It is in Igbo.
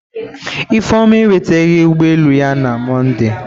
Ifeoma enweteghi ụgbọ elu ya na Mọnde.